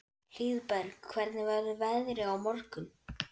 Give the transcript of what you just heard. Hlíðberg, hvernig verður veðrið á morgun?